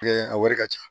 a wari ka ca